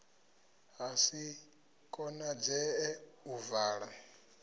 ha si konadzee u vala